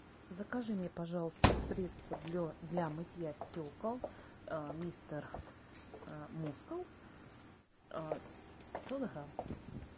закажи мне пожалуйста средство для мытья стекол мистер мускул пятьсот грамм